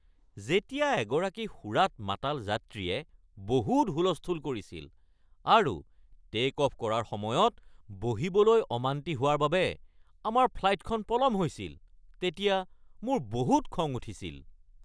যেতিয়া এগৰাকী সুৰাত মাতাল যাত্ৰীয়ে বহুত হুলস্থুল কৰিছিল আৰু টে’ক-অফ কৰাৰ সময়ত বহিবলৈ অমান্তি হোৱাৰ বাবে আমাৰ ফ্লাইটখন পলম হৈছিল তেতিয়া মোৰ বহুত খং উঠিছিল।